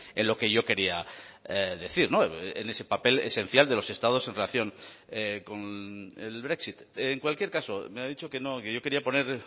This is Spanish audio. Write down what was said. en lo que yo quería decir en ese papel esencial de los estados en relación con el brexit en cualquier caso me ha dicho que no que yo quería poner